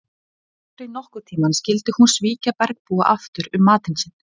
Aldrei nokkurn tíma skyldi hún svíkja bergbúana aftur um matinn sinn.